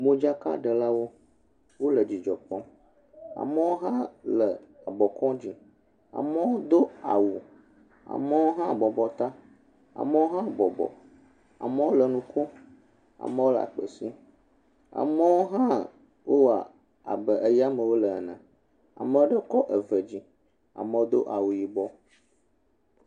Modzaka de la wo wo le dzidzɔ kpɔm amewo hã le abo kɔm dzi amewo do awu amewo hã bɔbɔ tã amewo hã bɔbɔ amewo le nukom amewo le akpe sĩm amewo hã wo wɔ abe yame wo le nene ameaɖe kɔ eve dzi amewo do awu yibɔ.